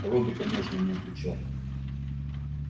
робби конечно не отвечал